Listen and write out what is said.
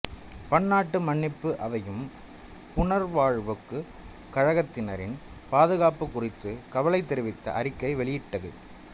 பன்னாட்டு மன்னிப்பு அவையும் புனர்வாழ்வுக் கழகத்தினரின் பாதுகாப்புக் குறித்து கவலை தெரிவித்து அறிக்கை வெளியிட்டது